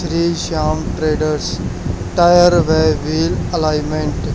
Shri Shyam traders tyre wheel alignment --